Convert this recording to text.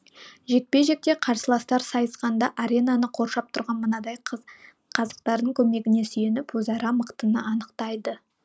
жекпе жекте қарсыластар сайысқанда аренаны қоршап тұрған мынадай қазықтардың көмегіне сүйеніп өзара мықтыны анықтайды